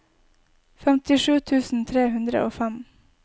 femtisju tusen tre hundre og fem